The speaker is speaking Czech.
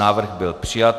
Návrh byl přijat.